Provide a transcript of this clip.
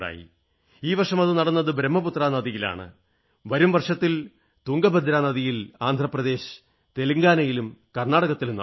ഈ വർഷം അത് നടന്നത് ബ്രഹ്മപുത്ര നദിയിലാണ് വരും വർഷത്തിൽ തുംഗഭദ്രാ നദിയിൽ ആന്ധ്രപ്രദേശിലും തെലുങ്കാനയിലും കർണ്ണാടകയിലും നടക്കും